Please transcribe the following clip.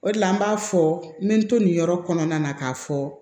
O de la n b'a fɔ n bɛ n to nin yɔrɔ kɔnɔna na k'a fɔ